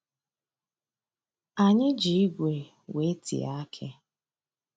Anyị ji igwe wee tie akị.